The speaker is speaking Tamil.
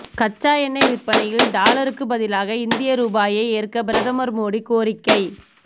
கச்சா எண்ணெய் விற்பனையில் டாலருக்கு பதிலாக இந்திய ரூபாயை ஏற்க பிரதமர் மோடி கோரிக்கை